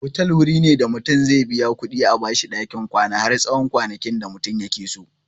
Otal wuri ne da mutum zai biya kuɗi a bashi ɗakin kwana har tsawon kwanakin da mutum yakeso.